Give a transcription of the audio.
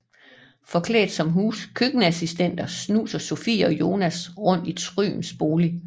Forklædt som køkkenassistenter snuser Sofie og Jonas rundt i Thryms bolig